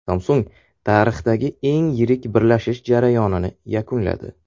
Samsung tarixdagi eng yirik birlashish jarayonini yakunladi.